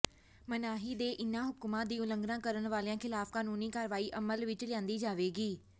ਮਨਾਹੀ ਦੇ ਇਹਨਾਂ ਹੁਕਮਾਂ ਦੀ ਉਲੰਘਣਾ ਕਰਨ ਵਾਲਿਆਂ ਖਿਲਾਫ ਕਾਨੂੰਨੀ ਕਾਰਵਾਈ ਅਮਲ ਵਿੱਚ ਲਿਆਂਦੀ ਜਾਵੇਗੀ